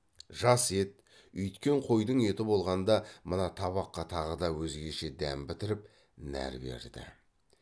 жас ет үйіткен қойдың еті болғанда мына табаққа тағы да өзгеше дәм бітіріп нәр берді